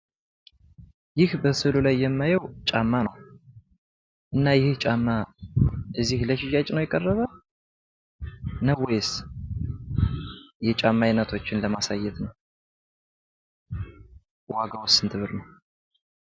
ይህ በስዕሉ ላይ የማየው ጫማ ነው። እና ይህ ጫማ እዚህ ለሽያጭ ነው የቀረበ? ነው ወይስ የጫማ አይነቶችን ለማሳየት ነው? ዋጋውስ ስንት ብር ነው?